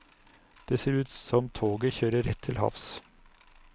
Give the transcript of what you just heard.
Det ser ut som toget kjører rett til havs.